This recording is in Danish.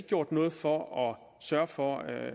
gjort noget for at sørge for at